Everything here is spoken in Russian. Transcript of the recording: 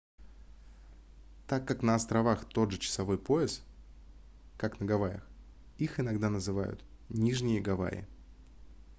так как на островах тот же часовой пояс как на гавайях их иногда называют нижние гавайи